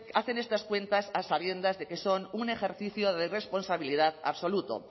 hacen estas cuentas a sabiendas de que son un ejercicio de responsabilidad absoluto